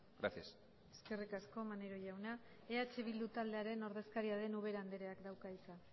gracias eskerrik asko maneiro jauna eh bildu taldearen ordezkaria den ubera andreak dauka hitza